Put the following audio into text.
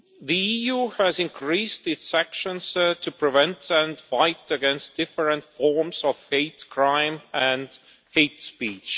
The EU has increased its actions to prevent and fight against different forms of hate crime and hate speech.